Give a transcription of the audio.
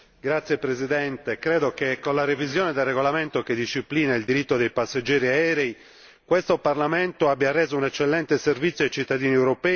Credo che con la revisione del regolamento che disciplina il diritto dei passeggeri aerei questo Parlamento abbia reso un eccellente servizio ai cittadini europei e alle loro istanze.